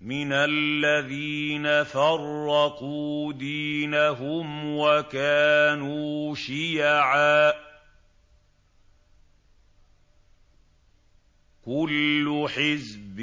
مِنَ الَّذِينَ فَرَّقُوا دِينَهُمْ وَكَانُوا شِيَعًا ۖ كُلُّ حِزْبٍ